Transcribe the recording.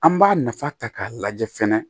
An b'a nafa ta k'a lajɛ fɛnɛ